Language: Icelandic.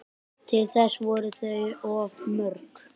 Til þess voru þau of mörg